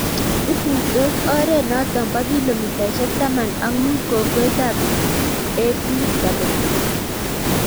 ituishot ore noto bo kilomititaisha taman ak muut kokwet ab BW